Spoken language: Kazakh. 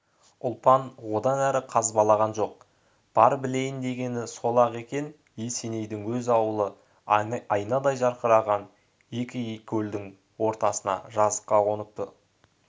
ұлпан одан әрі қазбалаған жоқ бар білейін дегені сол-ақ екен есенейдің өз ауылы айнадай жарқыраған екі келдің ортасына жазыққа қоныпты